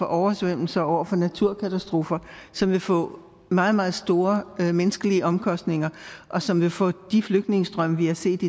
oversvømmelser og naturkatastrofer som vil få meget meget store menneskelige omkostninger og som vil få de flygtningestrømme vi har set